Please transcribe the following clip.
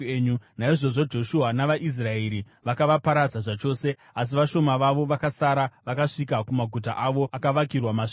Naizvozvo Joshua navaIsraeri vakavaparadza zvachose, asi vashoma vavo vakasara vakasvika kumaguta avo akavakirwa masvingo.